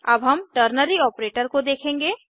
अब हम ternary operator को देखेंगे